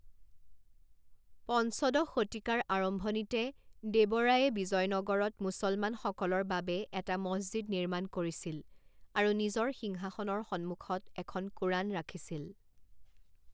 পঞ্চদশ শতিকাৰ আৰম্ভণিতে দেৱ ৰায়ে বিজয়নগৰত মুছলমানসকলৰ বাবে এটা মছজিদ নিৰ্মাণ কৰিছিল আৰু নিজৰ সিংহাসনৰ সন্মুখত এখন কোৰাণ ৰাখিছিল।